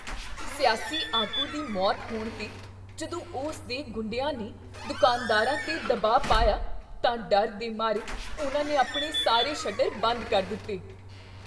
ਸਿਆਸੀ ਆਗੂ ਦੀ ਮੌਤ ਹੋਣ 'ਤੇ ਜਦੋਂ ਉਸ ਦੇ ਗੁੰਡਿਆਂ ਨੇ ਦੁਕਾਨਦਾਰਾਂ 'ਤੇ ਦਬਾਅ ਪਾਇਆ ਤਾਂ ਡਰ ਦੇ ਮਾਰੇ ਉਹਨਾਂ ਨੇ ਆਪਣੇ ਸਾਰੇ ਸ਼ਟਰ ਬੰਦ ਕਰ ਦਿੱਤੇ।